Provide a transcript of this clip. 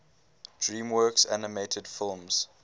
dreamworks animated films